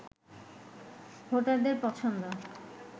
ভোটারদের পছন্দ